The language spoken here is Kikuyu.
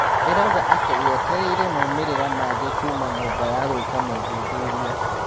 ĩrauga atĩ yetereire moimĩrĩra mangĩ kuuma nyũmba ya gũĩka mothuthuria.